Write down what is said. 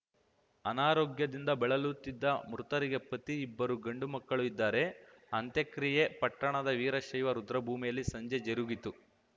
ಅನಾರೋಗ್ಯದಿಂದ ಬಳಲುತ್ತಿದ್ದ ಮೃತರಿಗೆ ಪತಿ ಇಬ್ಬರು ಗಂಡು ಮಕ್ಕಳು ಇದ್ದಾರೆ ಅಂತ್ಯಕ್ರಿಯೆ ಪಟ್ಟಣದ ವೀರಶೈವ ರುದ್ರಭೂಮಿಯಲ್ಲಿ ಸಂಜೆ ಜರುಗಿತು